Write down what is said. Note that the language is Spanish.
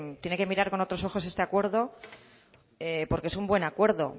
tiene que mirar con otros ojos este acuerdo porque es un buen acuerdo